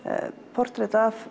portrett af